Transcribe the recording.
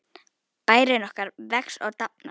Bærinn okkar vex og dafnar.